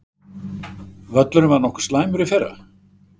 Völlurinn var nokkuð slæmur í fyrra?